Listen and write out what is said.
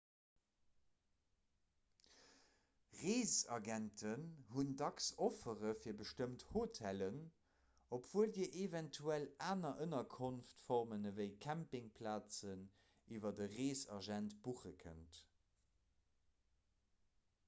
reesagenten hunn dacks offere fir bestëmmt hotellen obwuel dir eventuell aner ënnerkonftformen ewéi campingplazen iwwer e reesagent buche kënnt